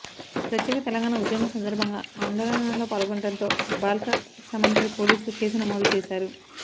ప్రత్యేక తెలంగాణ ఉద్యమం సందర్భంగా ఆందోళనల్లో పాల్గొనడంతో బాల్క సుమన్ పై పోలీసులు కేసు నమోదు చేశారు